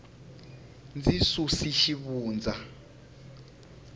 ndzi susu xivundza